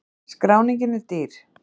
Skráningin er dýr